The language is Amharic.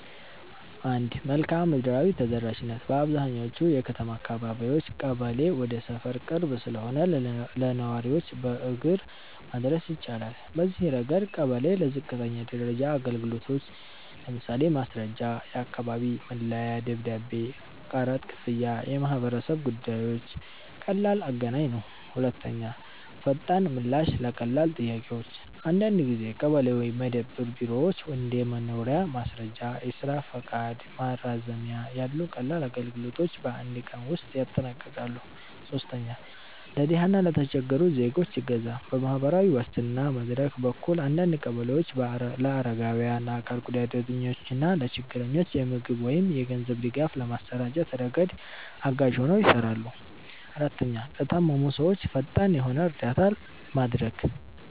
1. መልክዓ ምድራዊ ተደራሽነት - በአብዛኛዎቹ የከተማ አካባቢዎች ቀበሌ ወደ ሰፈር ቅርብ ስለሆነ ለነዋሪዎች በእግር መድረስ ይቻላል። በዚህ ረገድ ቀበሌ ለዝቅተኛ ደረጃ አገልግሎቶች (ማስረጃ፣ የአካባቢ መለያ ደብዳቤ፣ ቀረጥ ክፍያ፣ የማህበረሰብ ጉዳዮች) ቀላል አገናኝ ነው። 2. ፈጣን ምላሽ ለቀላል ጥያቄዎች - አንዳንድ ጊዜ ቀበሌ ወይም መደብር ቢሮዎች እንደ የመኖሪያ ማስረጃ፣ የስራ ፈቃድ ማራዘሚያ ያሉ ቀላል አገልግሎቶችን በአንድ ቀን ውስጥ ያጠናቅቃሉ። 3. ለድሃ እና ለተቸገሩ ዜጎች እገዛ - በማህበራዊ ዋስትና መድረክ በኩል አንዳንድ ቀበሌዎች ለአረጋውያን፣ ለአካል ጉዳተኞች እና ለችግረኞች የምግብ ወይም የገንዘብ ድጋፍ በማሰራጨት ረገድ አጋዥ ሆነው ይሰራሉ። 4, ለታመሙ ሰዎች ፈጣን የሆነ እርዳታ ማድረግ